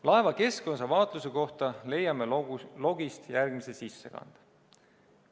Laeva keskosa vaatluse kohta leiame logist järgmise sissekande.